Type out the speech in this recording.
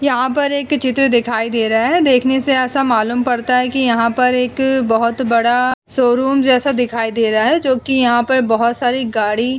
यहां पर एक चित्र दिखाई दे रहा है। देखने से ऐसा मालूम पड़ता है कि यहां पर एक बहोत बड़ा शोरूम जैसा दिखाई दे रहा है जोकि यहां पर बहोत सारी गाड़ी --